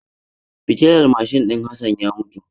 Fitilar mashin din Hassan ya mutu.